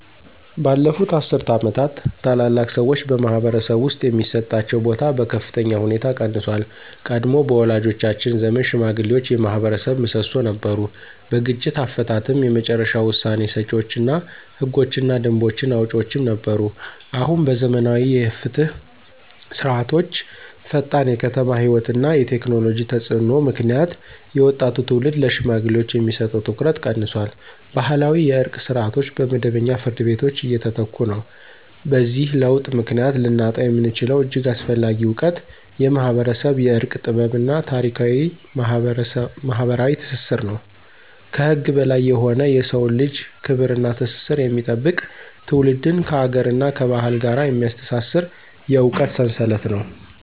ባለፉት አስርት ዓመታት፣ ታላላቅ ሰዎች በማኅበረሰብ ውስጥ የሚሰጣቸው ቦታ በከፍተኛ ሁኔታ ቀንሷል። ቀድሞ በወላጆቻችን ዘመን ሽማግሌዎች የማኅበረሰብ ምሰሶ ነበሩ። በግጭት አፈታትም የመጨረሻ ውሳኔ ሰጪዎች እና ህጎችንና ደንቦችን አውጪዎችም ነበሩ። አሁን በዘመናዊ የፍትህ ስርዓቶችዐፈጣን የከተማ ሕይወት እና የቴክኖሎጂ ተፅዕኖ ምክንያት የወጣቱ ትውልድ ለሽማግሌዎች የሚሰጠው ትኩረት ቀንሷል። ባህላዊ የእርቅ ስርዓቶች በመደበኛ ፍርድ ቤቶች እየተተኩ ነው። በዚህ ለውጥ ምክንያት ልናጣው የምንችለው እጅግ አስፈላጊ እውቀት የማኅበረሰብ የእርቅ ጥበብ እና ታሪካዊ ማኅበራዊ ትስስር ነው። ከህግ በላይ የሆነ የሰውን ልጅ ክብር እና ትስስር የሚጠብቅ፣ ትውልድን ከአገርና ከባህል ጋር የሚያስተሳስር የእውቀት ሰንሰለት ነው።